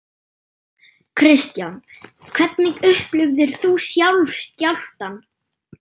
Kristján: Hvernig upplifðir þú sjálf skjálftann?